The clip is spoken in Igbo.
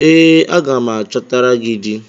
Ee, aga m achọtara gị di